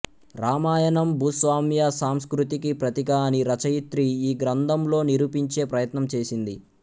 రామాయణం భూస్వామ్య సంస్కృతికి ప్రతీక అని రచయిత్రి ఈ గ్రంథంలో నిరూపించే ప్రయత్నం చేసింది